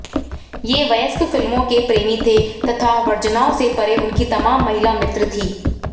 वे वयस्क फिल्मों के प्रेमी थे तथा वर्जनाओं से परे उनकी तमाम महिला मित्र थीं